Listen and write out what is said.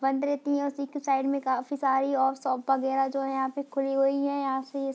बंद रहती है। उसी के साईड में काफी सारी और शॉप वगैरा जो है यहां पे खुली हुई है यहां से ये |